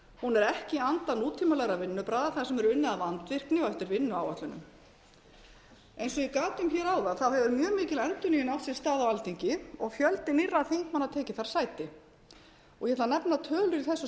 er ekki í anda nútímalegra vinnubragða þar sem er unnið af vandvirkni og eftir vinnuáætlunum eins og ég gat um áðan hefur mjög mikil endurnýjun átt sér stað á alþingi og fjöldi nýrra þingmanna tekið þar sæti ég ætla að nefna tölur í þessu